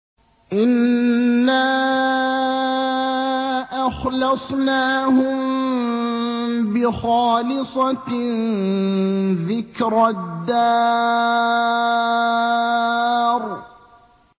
إِنَّا أَخْلَصْنَاهُم بِخَالِصَةٍ ذِكْرَى الدَّارِ